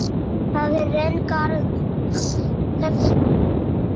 Það er röng aðferð.